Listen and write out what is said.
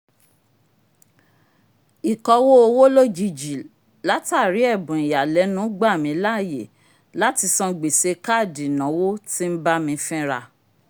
ikọwo owo lojiji latari ẹbun ìyàlẹ́nu gba mi láàyè láti sàn gbèsè kaadi ìnáwó t'in bámi fìn ra